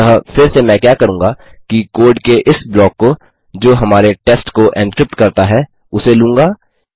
अतः फिर से मैं क्या करूँगा कि कोड के इस ब्लॉक को जो हमारे टेस्ट को एनक्रिप्ट करता है उसे लूँगा